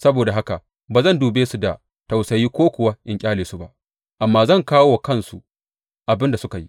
Saboda haka ba zan dube su da tausayi ko kuwa in ƙyale su ba, amma zan kawo wa kansu abin da suka yi.